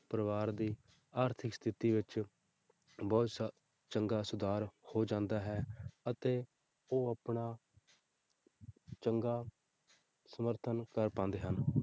ਪਰਿਵਾਰ ਦੀ ਆਰਥਿਕ ਸਥਿੱਤੀ ਵਿੱਚ ਬਹੁਤ ਚੰਗਾ ਸੁਧਾਰ ਹੋ ਜਾਂਦਾ ਹੈ ਅਤੇ ਉਹ ਆਪਣਾ ਚੰਗਾ ਸਮਰਥਨ ਕਰ ਪਾਉਂਦੇ ਹਨ